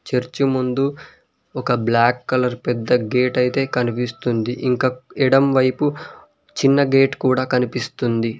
Church ముందు ఒక black colour పెద్ద గేట్ అయితే కనిపిస్తుంది ఇంకా ఎడం వైపు చిన్న గేట్ కూడా కనిపిస్తుంది.